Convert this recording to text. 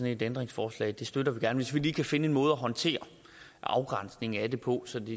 et ændringsforslag støtter vi gerne hvis vi lige kan finde en måde at håndtere afgrænsningen af det på